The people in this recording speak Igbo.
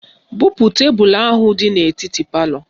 Bupu tebelu ahụ dị n'etiti palọ